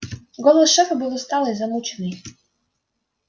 голос шефа был усталый замученный